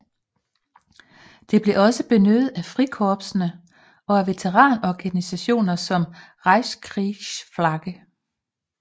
Det blev også benyttet af Frikorpsene og af veteranorganisationer som Reichskriegsflagge